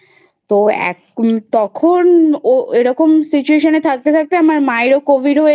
তো এক তখন ও এরকম situation এ থাকতে থাকতে আমার মায়েরও Covid হয়ে